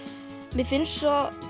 mér finnst svo